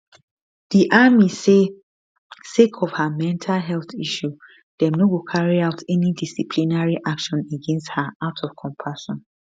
di army say sake of her mental health issue dem no go carry out any disciplinary action against her out of compassion